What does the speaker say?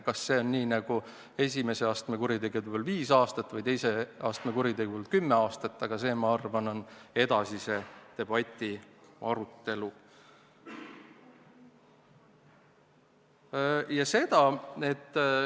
Kas see võiks olla nii nagu esimese astme kuriteo puhul viis aastat või teise astme kuriteo puhul kümme aastat, on samuti edasise debati teema.